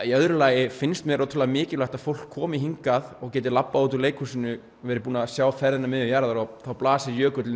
í öðru lagi finnst mér ótrúlega mikilvægt að fólk komi hingað og geti labbað út úr leikhúsinu verið búið að sjá sjá ferðina að miðju jarðar þá blasir jökullinn